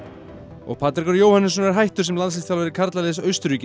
og Patrekur Jóhannesson er hættur sem landsliðsþjálfari karlaliðs Austurríkis